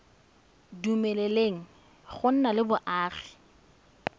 dumeleleng go nna le boagi